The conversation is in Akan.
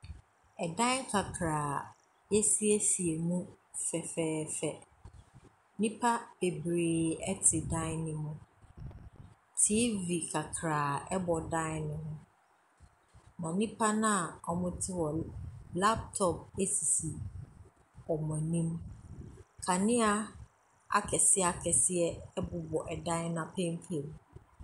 Ɛdan kakraa a wɔ ɛɔasiesie mu fɛfɛɛfɛ. Nnipa bebree te dan no mu. TV kakraa bɔ dan no mu. Na nipano a wɔte hɔ no, laptop sisi wɔn anim. Kanea akɛseɛ akɛseɛ bobɔ dan no apampam.